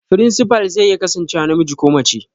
Firinsifal zai iya kasancewa namiji ko mace